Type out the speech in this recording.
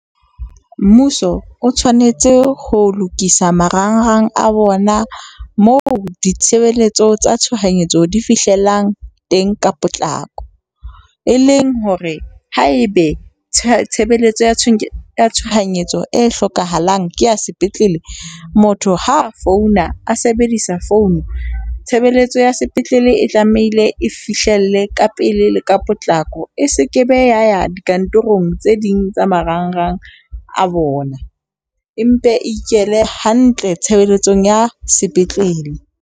Mmuso o tshwanetse ho lokisa marangrang a bona, moo ditshebeletso tsa tshohanyetso di fihlelang teng ka potlako. E leng hore haebe tshebeletso ya tshohanyetso e hlokahalang ke ya sepetlele, motho ha a founa a sebedisa phone, tshebeletso ya sepetlele e tlamehile e fihlelle ka pele le ka potlako. E sekebe ya ya dikantorong tse ding tsa marangrang a bona. E mpe e ikele hantle tshebeletsong ya sepetlele.